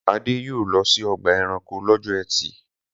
Adé yóò lọ sí ọgbà-ẹranko lọ́jọ́ ẹtì.